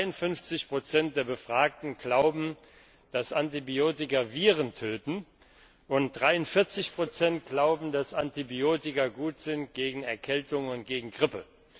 53 der Befragten glauben, dass Antibiotika Viren töten, und 43 glauben, dass Antibiotika gut sind gegen Erkältung und gegen Grippe.